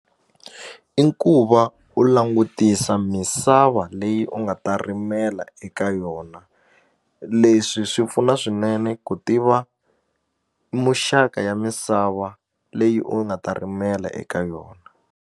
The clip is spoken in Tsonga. I ku va u langutisa misava leyi u nga ta rimela eka yona leswi swi pfuna swinene ku tiva muxaka ya misava leyi u nga ta rimela eka yona.